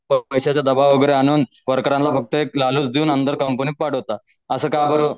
पैशाचा दबाव वगैरे आणून वर्करांना फक्त एक लालच देऊन अंदर कंपनीत पाठवता असं का